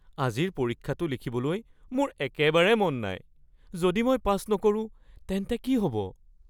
আজিৰ পৰীক্ষাটো লিখিবলৈ মোৰ একেবাৰে মন নাই। যদি মই পাছ নকৰো তেন্তে কি হ'ব?